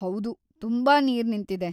ಹೌದು, ತುಂಬಾ ನೀರ್‌ ನಿಂತಿದೆ.